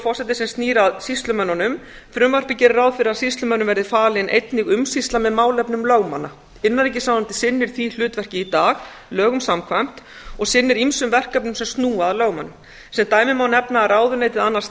fleira sem snýr að sýslumönnunum frumvarpið gerir ráð fyrir að sýslumönnum verði falin einnig umsýsla með málefnum lögmanna innanríkisráðuneytið sinnir því hlutverki í dag lögum samkvæmt og sinnir ýmsum verkefnum sem snúa að lögmönnum sem dæmi má nefna að ráðuneytið annast